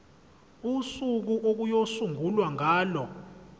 usuku okuyosungulwa ngalo